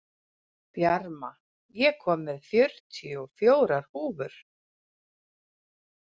Bjarma, ég kom með fjörutíu og fjórar húfur!